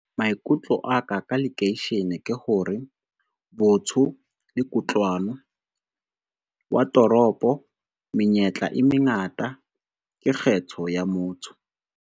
Maikutlo a ka, ka lekeishene ke hore botho le kutlwano. Wa toropo menyetla e mengata ke kgetho ya motho.